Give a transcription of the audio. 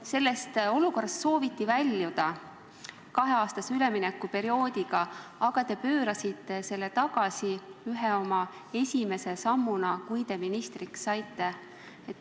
Sellest olukorrast sooviti väljuda kaheaastase üleminekuperioodiga, aga te pöörasite selle ühe oma esimese sammuna tagasi, kui te ministriks saite.